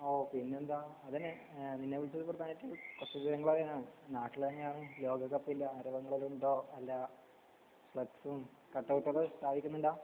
ഓഹ് പിന്നെന്താ അതന്നെ ഏഹ് നാട്ടിലെങ്ങാനും ലോകകപ്പിന്റെ ആരാധകരുണ്ടോ കട്ട്‌ഔട്ട്‌ ഒക്കെ സ്ഥാപിച്ചിട്ടില്ല.